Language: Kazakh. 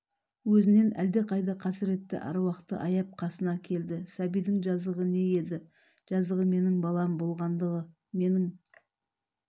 өзінен әлдеқайда қасыретті аруақты аяп қасына келді сәбидің жазығы не еді жазығы менің балам болғандығы менің